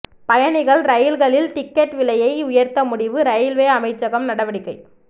பயணிகள் ரயில்களில் டிக்கெட் விலையை உயர்த்த முடிவு ரயில்வே அமைச்சகம் நடவடிக்கை